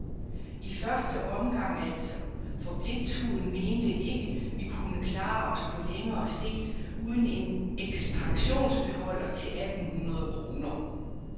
I første omgang altså, for bliktuden mente ikke, vi kunne klare os på længere sigt uden en ekspansionsbeholder til atten hundrede kroner.